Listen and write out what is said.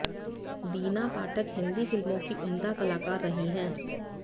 दीना पाठक हिंदी फिल्मों की उम्दा कलाकार रही हैं